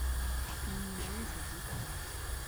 энмилова садистка